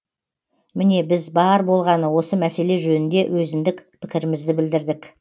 міне біз бар болғаны осы мәселе жөнінде өзіндік пікірімізді білдірдік